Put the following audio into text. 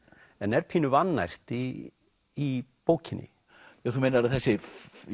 en er pínu vannært í í bókinni þú meinar að þessi